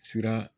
Sira